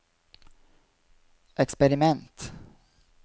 eksperiment